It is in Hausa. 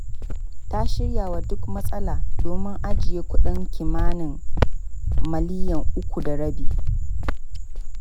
Ta shirya wa duk matsala, domin ajiye kuɗin kimanin miliyan uku da rabi.